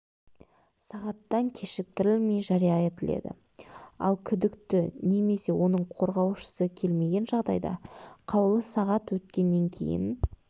сағаттан кешіктірілмей жария етіледі ал күдікті немесе оның қорғаушысы келмеген жағдайда қаулы сағат өткеннен кейін